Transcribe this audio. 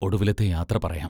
ഒടുവിലത്തെ യാത്ര പറയാം.